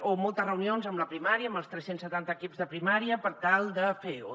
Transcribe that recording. o moltes reunions amb la primària amb els tres cents i setanta equips de primària per tal de fer o